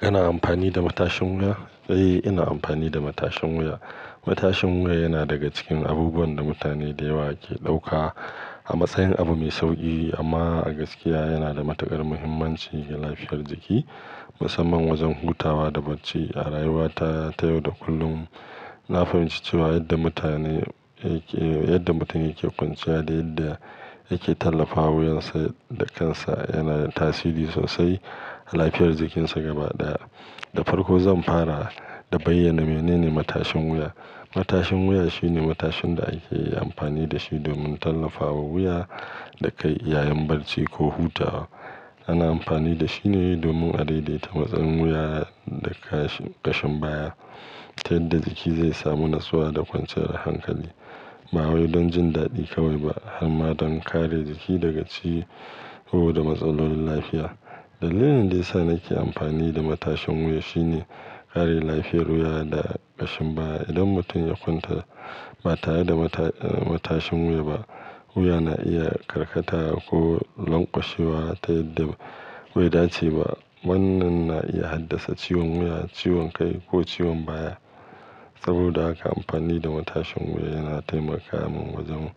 Kana amfani da matashin wuya? Eh, ina amfani da matashin wuya. Matashin wuya yana daga cikin abubuwan da mutane da yawa ke ɗauka a matsayin abu mai sauki, amma a gaskiya yana da matuƙar muhimmanci ga lafiyar jiki, musamman wajen hutawa da barci a rayuwa ta yau da kullum. Na fahimci cewa yadda mutane yake, yadda mutum yake kwanciya da yadda yake tallafawa wuyansa da kansa yana da tasiri sosai ga lafiyar jikinsa gaba ɗaya. Da farko zan fara da bayyana menene matashin wuya. Matashin wuya shine matashin da ake amfani da shi domin tallafawa wuya da kai yayin barci ko hutawa. Ana amfani da shi ne domin a daidaita matsayin wuya da kashi ƙashin baya ta yadda jiki zai samu natsuwa da kwanciyar hankali. Ba wai don jin daɗi kawai ba harma don kare jiki daga ciwo da matsalan lafiya. Dalilin da ya sa nake amfani da matashin wuya shine kare lafiyar wuya da ƙashin baya. Idan mutum ya kwanta ba tare da mata-matashin wuya ba, wuya na iya karkatawa ko lanƙwashewa ta yadda bai dace ba. Wannan na iya haddasa ciwon wuya, ciwon kai ko ciwon baya. Saboda haka amfani da matashin wuya yana taimaka min wajen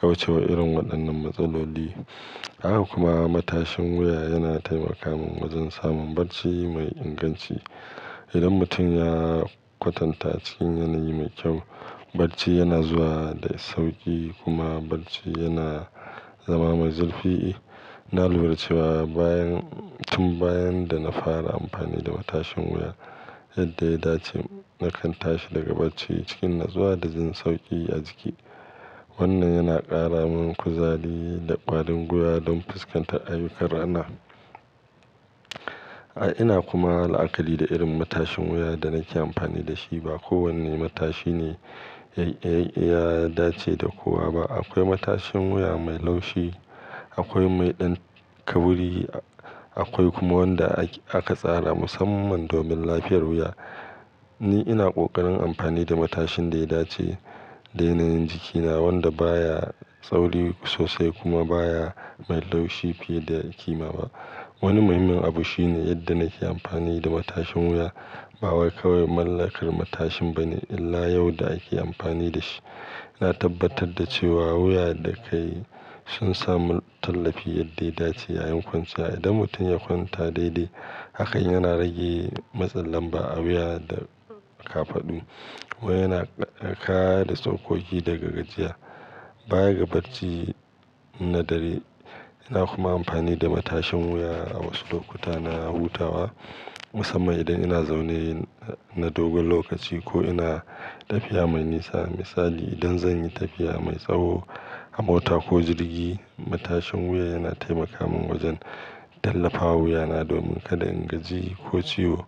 kauce wa irin waɗannan matsaloli. Haka kuma matashin wuya yana taimaka min wajen samun barci mai inganci. Idan mutum ya kwatanta cikin yanayi mai kyau, barci yana zuwa da sauƙi kuma barci yana zama mai zurfi na lura cewa bayan, tun bayan da na fara amfani da matashin wuya yadda ya dace, na kan tashi daga barci cikin in na tsuwa da jin sauƙi a jiki. Wannan yana ƙara min kuzari da ƙwarin wuya don fuskantar ayyukan rana. A'a ina kuma la'akali da irin matashin wuya da nake amfani da shi. Ba kowane matashi ne ya, ya, ya dace da kowa ba. Akwai matashin wuya mai laushi, akwai mai ɗan kauri, akwai kuma wanda aka tsara musamman domin lafiyar wuya. Ni ina ƙoƙarin amfani da matashin da ya dace da yanayin jikina, wanda baya tsauri sosai kuma baya mai laushi fiye da ƙima ba. Wani muhimmin abu shine yadda nake amfani da matashin wuya. Ba wai kawai mallakar matashin ba ne, illa yau da ake amfani da shi. Na tabbatar da cewa wuya da kai sun samu tallafi yadda ya dace yayin kwanciya. Idan mutum ya kwanta daidai, haka yana rage matsin lamba a a wuya da ƙafaɗu. Wai yana kare tsokoki daga gajiya baya ga barci na dare. Ina kuma amfani da matashin wuya a wasu lokuta na hutawa, musamman idan ina zaune na dogon lokaci ko ina tafiya mai nisa. Misali idan zan yi tafiya mai tsawo a mota ko jirgi, matashin wuya yana taimaka min wajen tallafawa wuyana domin kada in gaji ko ciwo.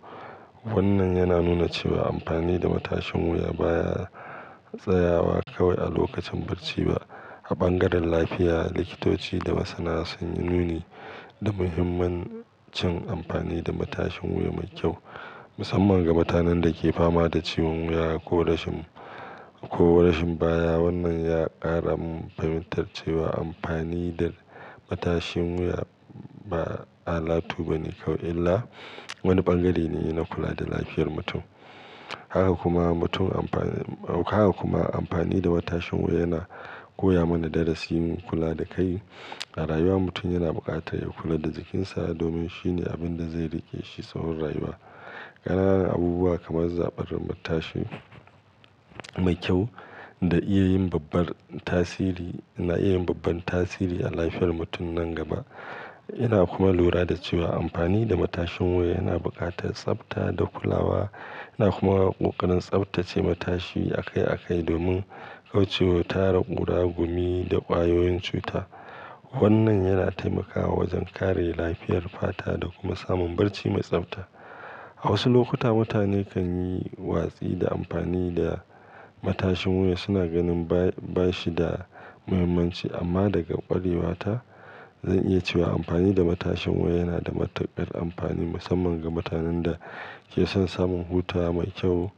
Wannan yana nuna cewa amfani da matashin wuya baya tsayawa kawai a lokacin barci ba. A ɓangaren lafiya, likitoci da masana sun nuni da muhimmancin amfani da matashin wuya mai kyau, musamman ga mutanen da ke fama da ciwon wuya ko rashin, ko rashin baya. Wannan ya ƙara min fahimtar cewa amfani da matashin wuya ba alatu ba ne kawai, illa wani ɓangare ne na kula da lafiyar mutum. Haka kuma mutum amfani, haka kuma amfani da matashin wuya yana koya mana darasin kula da kai a rayuwa. Mutum yana buƙatar ya kula da jikinsa domin shine abin da zai riƙe shi tsawon rayuwa. Ƙananan abubuwa kamar zaɓar matashi mai kyau da iya yin babbar tasiri, na iya yin babbar tasiri a lafiyar mutum nan gaba. Ina kuma lura da cewa amfani da matashin wuya yana buƙatar tsabta da kulawa. Ina kuma ƙoƙarin tsabtace matashi akai akai domin kauce wa tara ƙura, gumi da ƙwayoyin cuta. Wannan yana taimakawa wajen kare lafiyar fata da kuma samun barci mai tsabta. A wasu lokuta mutane kan yi watsi da amfani da matashin wuya. Suna ganin ba shi da muhimmanci, amma daga ƙwarewata zan iya cewa amfani da matashin wuya yana da matuƙar amfani, musamman ga mutanen da ke son samun hutawa mai kyau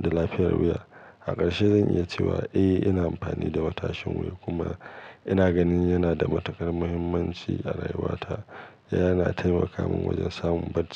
da lafiyar wuya. A ƙarshe zan iya cewa eh, ina amfani da matashin wuya kuma ina ganin yana da matuƙar muhimmanci a rayuwata. Yana taimaka min wajen samun barci.